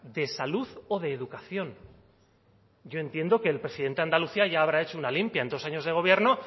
de salud o de educación yo entiendo que el presidente de andalucía ya habrá hecho una limpia en dos años de gobierno